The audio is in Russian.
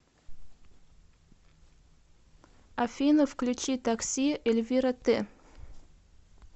афина включи такси эльвира т